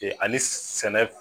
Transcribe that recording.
ani sɛnɛ